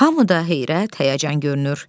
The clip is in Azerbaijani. Hamıda heyrət, həyəcan görünür.